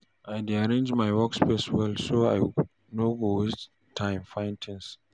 I dey arrange my workspace well so I no go waste time find things.